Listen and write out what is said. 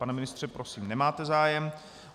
Pane ministře, prosím, nemáte zájem.